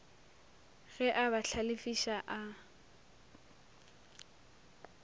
ge a ba hlalefiša a